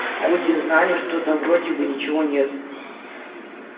хоть и знали что там вроде бы ничего нет